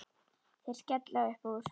Þeir skella upp úr.